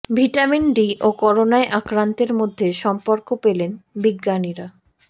vitamin D ও করোনায় আক্রান্তের মধ্যে সম্পর্ক পেলেন বিজ্ঞানীরা